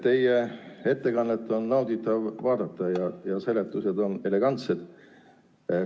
Teie esinemist on nauditav vaadata ja seletused on elegantsed.